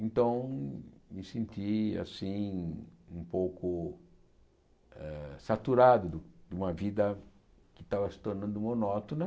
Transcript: Então, me senti assim, um pouco eh saturado de uma vida que estava se tornando monótona.